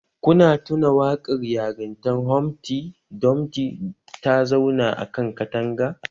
Kuna tuna waƙar yarintan Humfty Dumfty ta zauna a kan katanga